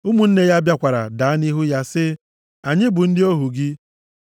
Ụmụnne ya bịakwara daa nʼihu ya, sị, “Anyị bụ ndị ohu gị.”